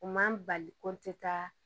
U man bali ko n tɛ taa